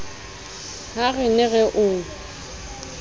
ha re ne re o